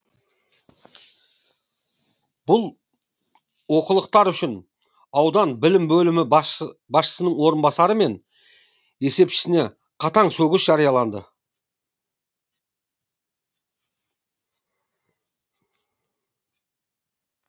бұл олқылықтар үшін аудандық білім бөлімі басшысының орынбасары мен есепшісіне қатаң сөгіс жарияланды